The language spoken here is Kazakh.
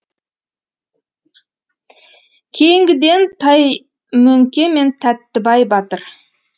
кейінгіден таймөңке мен тәттібай батыр